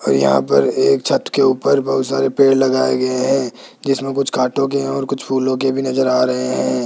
और यहां पर एक छत के ऊपर बहुत सारे पेड़ लगाए गए हैं जिसमें कुछ काटोगे और कुछ फूलों के भी नजर आ रहे हैं।